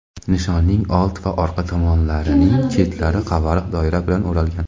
Nishonning old va orqa tomonlarining chetlari qavariq doira bilan o‘ralgan.